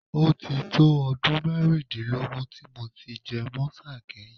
Ó ti tó ọdún márùndínlógún tí mo ti jẹ mọ́sà kẹ́yìn